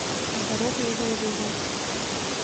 здоровый образ жизни